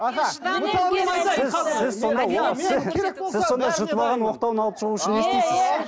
сіз сонда жұтып алған оқтауын алып шығу үшін не істейсіз